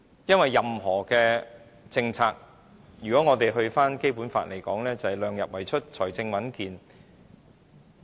因為任何政策，如果引用《基本法》的意思，就是"量入為出，財政穩健"。